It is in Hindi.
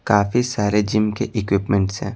काफी सारे जिम के इक्विपमेंट्स हैं।